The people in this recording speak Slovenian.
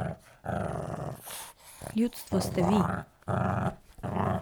Ljudstvo ste vi.